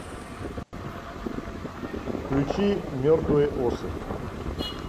включи мертвые осы